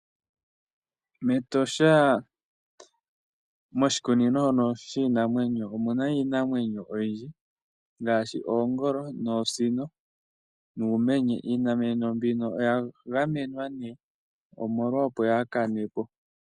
Metosha moshikunino shono shiinamwenyo omuna iinamwenyo oyindji ngaashi oongolo noosino nuumenye iinamwenyo mbino oya gamenwa nee omolwa opo yaakane po.